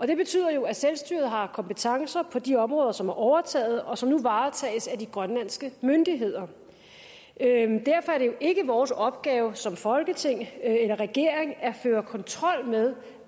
det betyder jo at selvstyret har kompetencer på de områder som er overtaget og som nu varetages af de grønlandske myndigheder derfor er det jo ikke vores opgave som folketing eller regering at føre kontrol med